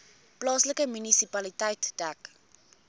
plaaslike munisipaliteit dek